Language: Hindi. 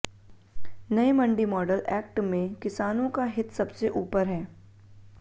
नये मंडी मॉडल एक्ट में किसानों का हित सबसे ऊपर है